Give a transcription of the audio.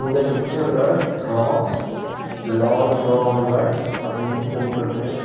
இந்த பிக்சர்ல drops laundromat அப்டினு போட்ருக்கு.